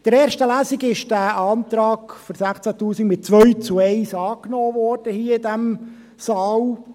In der ersten Lesung wurde der Antrag für 16’000 Franken mit 2 zu 1 angenommen worden, hier in diesem Saal.